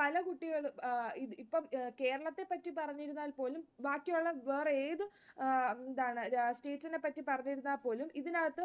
പല കുട്ടികളും അഹ് ഇപ്പം കേരളത്തെ പറ്റി പറഞ്ഞിരുന്നാൽ പോലും ബാക്കിയുള്ള വേറെ ഏതും അഹ് രാഷ്ട്രീയത്തിനെ പറ്റി പറഞ്ഞിരുന്നാൽ പോലും ഇതിനകത്ത്